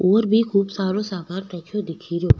और भी खूब सारो सामान रखयो दिखे रो।